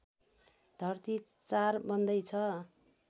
धर्ती ४ बन्दैछ